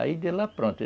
Aí de lá, pronto.